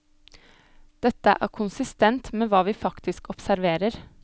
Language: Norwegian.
Dette er konsistent med hva vi faktisk observerer.